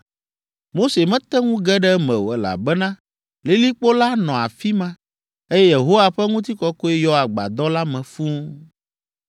Mose mete ŋu ge ɖe eme o, elabena lilikpo la nɔ afi ma, eye Yehowa ƒe ŋutikɔkɔe yɔ agbadɔ la me fũu.